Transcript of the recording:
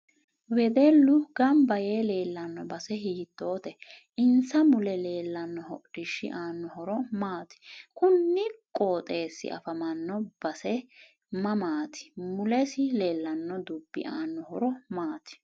Wedellu ganbba yee leelanno base hiitoote insa mule leelanno hodhishi aano horo maati kuni qooxeesi afamanno base mamaati mulesi leelanno dubbi aano horo maati